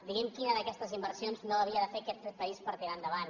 digui’m quina d’aquestes inversions no havia de fer aquest país per tirar endavant